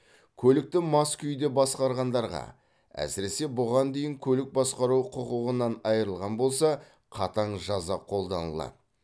көлікті мас күйде басқарғандарға әсіресе бұған дейін көлік басқару құқығынан айырылған болса қатаң жаза қолданылады